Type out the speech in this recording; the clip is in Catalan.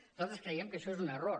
nosaltres creiem que això és un error